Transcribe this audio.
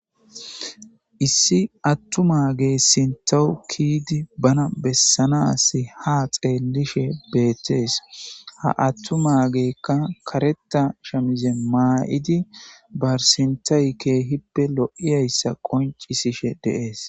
issi attuma ge sintahu kiidi bana bessanasi ha xeellishe beettees ha attu maagekka kareta shamizen maa7idi barsintay keehippe lo7iyayssa qoncisishe de'es